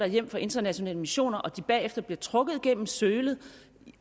hjem fra internationale missioner og bagefter bliver trukket gennem sølet